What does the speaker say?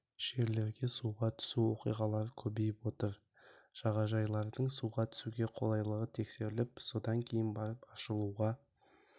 жерлерге суға түсу оқиғалары көбейіп отыр жағажайлардың суға түсуге қолайлығы тексеріліп содан кейін барып ашылуға